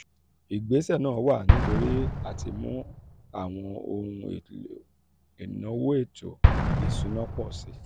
ìgbésẹ̀ náà wá nítorí àtimú àwọn ohun àwọn ohun èlò ìnáwó ètò ìsúná pọ̀ sí i.